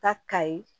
Ta ka ye